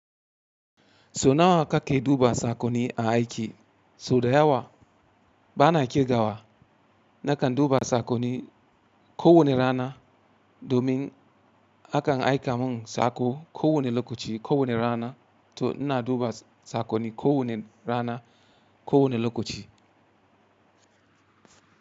So nawa ka ke duba sakwanni a aiki? So da yawa bana ƙirgawa nakan duba sakwanni ko wanne rana domin akan aika mun sako ko wanne lokaci ko wanne rana to ina duba sakwanni ko wanne rana ko wanne lokaci.